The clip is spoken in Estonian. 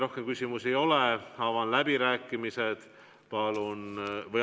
Rohkem küsimusi ei ole, avan läbirääkimised.